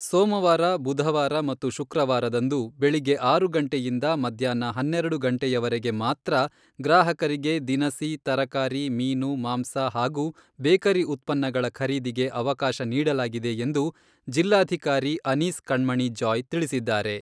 ಸೋಮವಾರ, ಬುಧವಾರ ಮತ್ತು ಶುಕ್ರವಾರದಂದು ಬೆಳಗ್ಗೆ ಆರು ಗಂಟೆಯಿಂದ ಮಧ್ಯಾಹ್ನ ಹನ್ನೆರೆಡು ಗಂಟೆಯವರೆಗೆ ಮಾತ್ರ ಗ್ರಾಹಕರಿಗೆ ದಿನಸಿ, ತರಕಾರಿ, ಮೀನು, ಮಾಂಸ ಹಾಗೂ ಬೇಕರಿ ಉತ್ಪನ್ನಗಳ ಖರೀದಿಗೆ ಅವಕಾಶ ನೀಡಲಾಗಿದೆ ಎಂದು ಜಿಲ್ಲಾಧಿಕಾರಿ ಅನೀಸ್ ಕಣ್ಮಣಿ ಜಾಯ್ ತಿಳಿಸಿದ್ದಾರೆ.